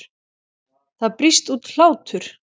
Það brýst út hlátur.